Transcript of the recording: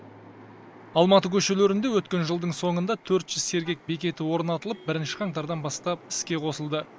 алматы көшелерінде өткен жылдың соңында төрт жүз сергек бекеті орнатылып бірінші қаңтардан бастап іске қосылды